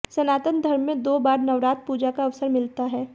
सनातन धर्म में दो बार नवरात्र पूजा का अवसर मिलता हैं